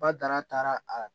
Bada taara a